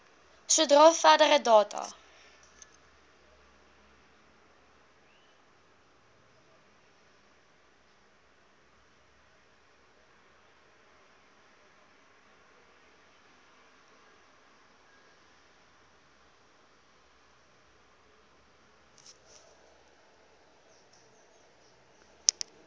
sodra verdere data